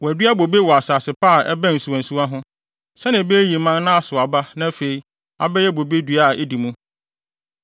Wɔadua bobe wɔ asase pa a ɛbɛn nsuwansuwa ho, sɛnea ebeyiyi mman na asow aba na afei abɛyɛ bobe dua a edi mu.’